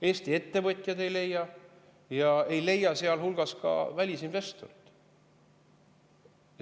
Eesti ettevõtjad ei leia ja ei leia ka välisinvestorid.